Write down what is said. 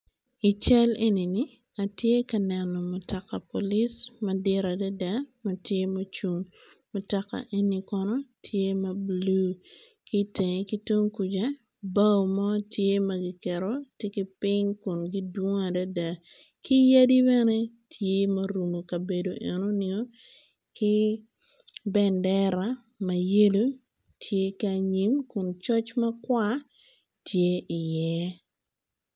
I cal enini atye ka neno mutoka polis madit adada matye mucung mutoka eni kono tye ma blue kitenge kitung kuca bao mo tye magiketo tye kiping kun gidwong adada ki yadi bene tye ma orumo kabedo enini ki bendera mayelo tye ki anyim kun coc makwar tye i ye.